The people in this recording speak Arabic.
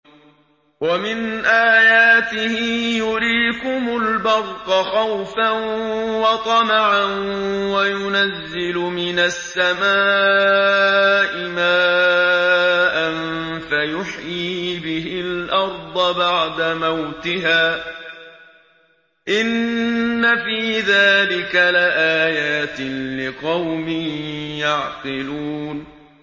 وَمِنْ آيَاتِهِ يُرِيكُمُ الْبَرْقَ خَوْفًا وَطَمَعًا وَيُنَزِّلُ مِنَ السَّمَاءِ مَاءً فَيُحْيِي بِهِ الْأَرْضَ بَعْدَ مَوْتِهَا ۚ إِنَّ فِي ذَٰلِكَ لَآيَاتٍ لِّقَوْمٍ يَعْقِلُونَ